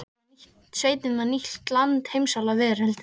Sveitin var nýtt land, heimsálfa, veröld.